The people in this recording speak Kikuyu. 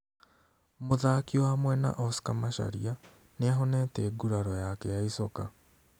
Mũthaki wa mwena Oscar Macharia nĩahonete nguraro yake ya icoka